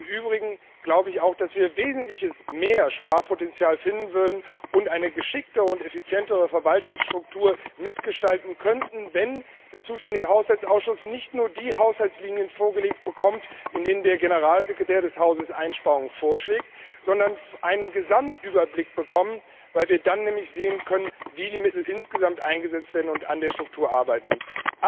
Im Übrigen glaube ich auch, dass wir wesentlich mehr Sparpotenzial aufdecken würden und eine geschicktere und effizientere Verwaltungsstruktur mitgestalten könnten, wenn dem zuständigen Haushaltsausschuss nicht nur die Haushaltslinien vorgelegt würden, in denen der Generalsekretär des Hauses Einsparungen vorschlägt, sondern wenn der Haushaltsausschuss einen Gesamtüberblick erhielte, weil wir dann nämlich sehen könnten, wie die Mittel insgesamt eingesetzt werden, und an der Struktur arbeiten könnten.